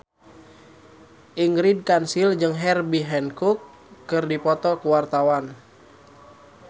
Ingrid Kansil jeung Herbie Hancock keur dipoto ku wartawan